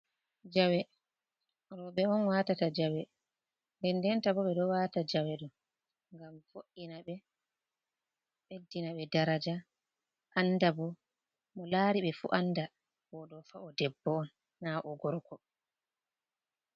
Jawe robe on watata jawe den denta bo ɓe ɗo wata jawedo gam fo’ina ɓe ɓeddina be daraja anda bo mo lari be fu anda bo do fa’o debbo na o gorko.